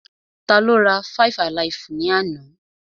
Tá ló rá five-alaifu ni àna?